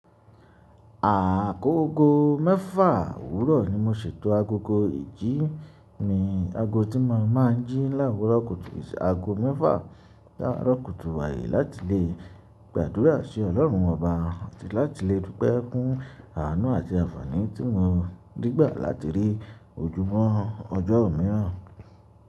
Àkókò mẹ́fà òwúrọ̀ ni mo ṣètò agogo ìjí mi. Ago tí mo má ń jí láwùrọ̀ kùtù, ìṣe ago mẹ́fà láwùrọ̀ kùtù wáyé láti lè gbàdúrà sí Ọlọ́run oba àti láti lè dúpẹ́ fún àánú àti àfàní tí mo rí gbà láti rí ojúmọ́ ọjọ́ miiran.